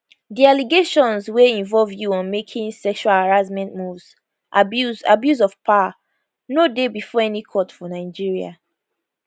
di allegations wey involved you on making sexual harassment moves abuse abuse of power no dey bifor any court for nigeria